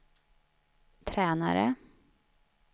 tränare